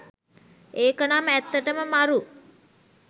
ඒක නම් ඇත්තටම මරු